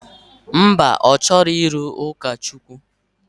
Mba, ọ chọrọ ịlụ ụkọchukwu.